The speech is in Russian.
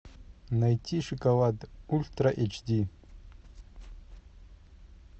найти шоколад ультра эйч ди